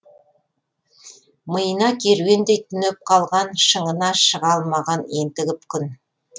миына керуендей түнеп қалған шыңына шыға алмаған ентігіп күн